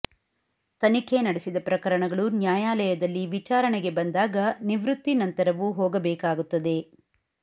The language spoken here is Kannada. ತನಿಖೆ ನಡೆಸಿದ ಪ್ರಕರಣಗಳು ನ್ಯಾಯಾಲಯದಲ್ಲಿ ವಿಚಾರಣೆಗೆ ಬಂದಾಗ ನಿವೃತ್ತಿ ನಂತರವೂ ಹೋಗಬೇಕಾಗುತ್ತದೆ